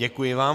Děkuji vám.